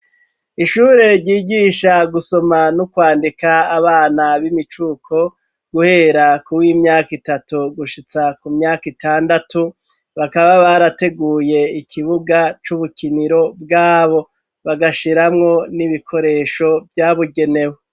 Ishure ryigisha gusoma no kwandika abana b'imicuko, guhera kuw'imyaka itatu gushitsa ku myaka itandatu, bakaba barateguye ikibuga c'ubukiniro bwabo, bagashiramwo n'ibikoresho vyabigenewe.